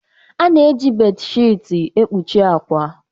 A na-eji bé-shịti ekpuchi akwa.